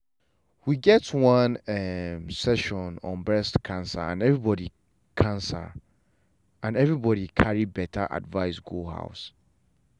we get one community um session on breast cancer and everybody cancer and everybody carry better advice go house.